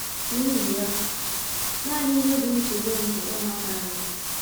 N’ihi ya, nanị ihe bụ nchegbu m bụ ụmụaka anyị.